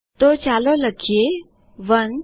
તો ચાલો લખીએ 1